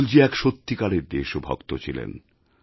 অটলজী এক সত্যিকারের দেশভক্ত ছিলেন